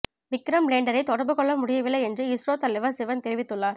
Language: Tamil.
விக்ரம் லேண்டரை தொடர்பு கொள்ள முடியவில்லை என்று இஸ்ரோ தலைவர் சிவன் தெரிவித்துள்ளார்